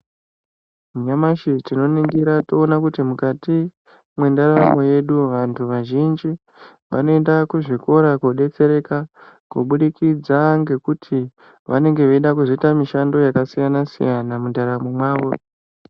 Nyamashi tinoningira toona kuti mukati mwendaramo yedu vanthu vazhinji ,vanoenda kuzvikora koodetsereka, kubudikidza ngekuti vanenge veida kuzoita mishando yakasiyana-siyana mundaramo mwawo.